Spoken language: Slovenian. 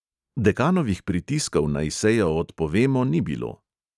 Dekanovih pritiskov, naj sejo odpovemo, ni bilo.